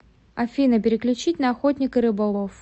афина переключить на охотник и рыболов